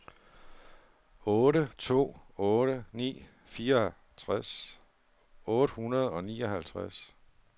otte to otte ni fireogtres otte hundrede og nioghalvtreds